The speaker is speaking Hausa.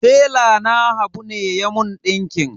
Tela na habu ne ya mun ɗinkin.